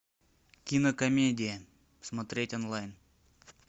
кинокомедия смотреть онлайн